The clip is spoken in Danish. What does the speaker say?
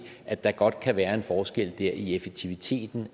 at der godt kan være en forskel i effektivitet